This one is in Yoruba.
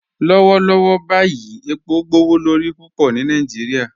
Lọwọlọwọ báyì epo gbowolorí púpọ ni Nàìjíríà